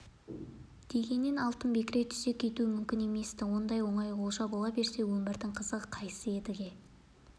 дегеннен алтын бекіре түсе кетуі мүмкін емес-ті ондай оңай олжа бола берсе өмірдің қызығы қайсы едіге